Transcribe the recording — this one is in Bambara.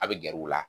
A bɛ gɛr'u la